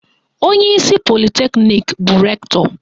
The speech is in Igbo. Onyeisi politeknik bụ Rektọ